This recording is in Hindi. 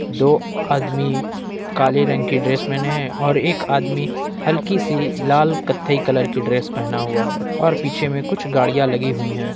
दो आदमी काले रंग की ड्रेस मेने और एक आदमी हल्की सी लाल कथई कलर की ड्रेस पहना हुआ है और पीछे में कुछ गाड़ियां लगी हुई है।